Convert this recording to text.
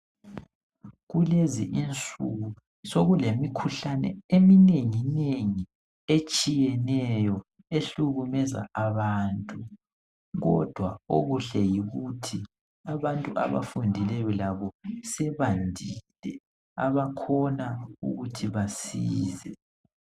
Kulezi insuku sokulemikhuhlane eminenginengi etshiyeneyo ehlukumeza abantu, kodwa okuhle yikuthi abantu abafundileyo labo sebandile abakhona ukuthi basize.